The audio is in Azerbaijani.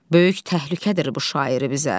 Böyük təhlükədir bu şairi bizə.